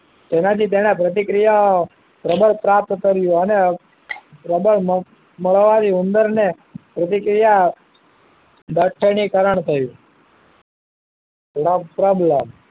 એના થી તેના પ્રત્ક્રીયા પ્રબળ પ્રાપ્ત કયું અને પ્રબળ મળવાનું ઉંદર ને પ્રતિક્રિયા કરણ થયું no problem